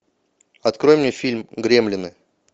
открой мне фильм гремлины